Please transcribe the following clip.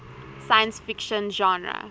science fiction genre